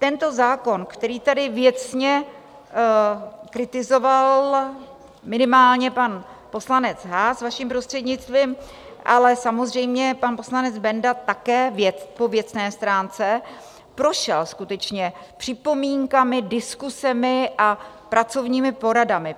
Tento zákon, který tady věcně kritizoval minimálně pan poslanec Haas vaším prostřednictvím, ale samozřejmě pan poslanec Benda také po věcné stránce, prošel skutečně připomínkami, diskusemi a pracovními poradami.